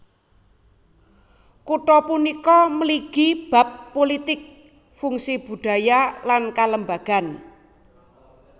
Kutha punika mligi bab pulitik fungsi budaya lan kalembagan